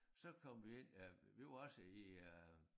Så kom vi ind øh vi var også i øh